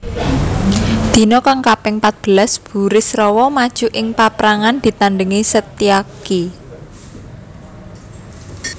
Dina kang kaping patbelas Burisrawa maju ing paprangan ditandhingi Setyaki